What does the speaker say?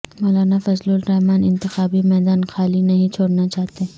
مولانا فضل الرحمان انتخابی میدان خالی نہیں چھوڑنا چاہتے